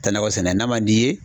Ta nakɔ sɛnɛ n'a man di ye